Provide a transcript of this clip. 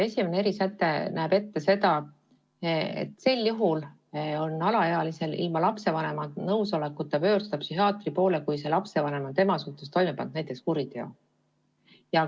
Esimene erisäte näeb ette seda, et alaealine saab ilma lapsevanema nõusolekuta pöörduda psühhiaatri poole sel juhul, kui lapsevanem on tema suhtes toime pannud näiteks kuriteo.